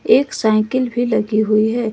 एक साइकिल भी लगी हुई है।